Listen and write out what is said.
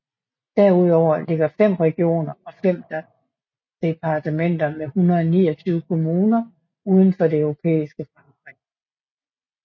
Derudover ligger fem regioner og fem departementer med 129 kommuner uden for det europæiske Frankrig